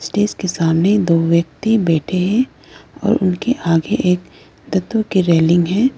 Stage के सामने दो व्यक्ति बैठे हैं और उनके आगे एक रेलिंग है।